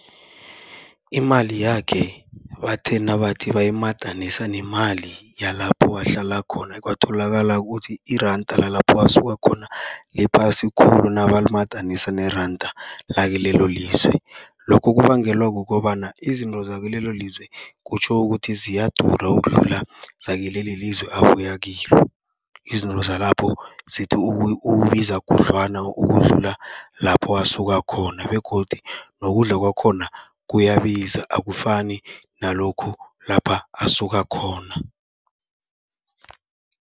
Imali yakhe bathe nabathi bayimadanisa nemali yalapho ahlala khona, kwatholakala kuthi iranda lalapho asuka khona liphasi khulu nabalimadanisa neranda lakilelo lizwe. Lokho kubangelwa kukobana izinto zakilelo lizwe kutjho ukuthi ziyadura, ukudlula zakilelizwe abuya kilo. Izinto zalapho zithi ukubiza khudlwana ukudlula lapho asuka khona begodu nokudla kwakhona kuyabiza, akufani nalokhu lapha asuka khona.